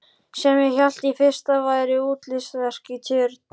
Sem ég hélt í fyrstu að væri útilistaverk í tjörn.